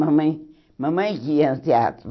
Mamãe mamãe que ia ao teatro.